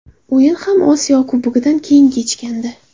O‘yin ham Osiyo Kubogidan keyin kechgandi.